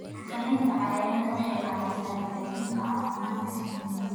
Xakamaynta cayayaanka waxay caawisaa hagaajinta caafimaadka shinnida.